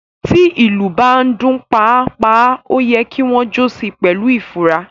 Tí ilú bá ń dun “pa a, pa a” oyè kí wón jo sí pèlú ifura.